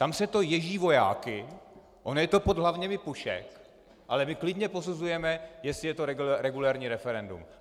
Tam se to ježí vojáky, ono je to pod hlavněmi pušek, ale my klidně posuzujeme, jestli je to regulérní referendum.